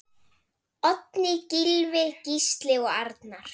Oddný, Gylfi, Gísli og Arnar.